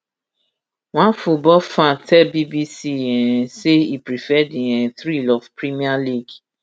one football fan tell bbc um say e prefer di um thrill of premier league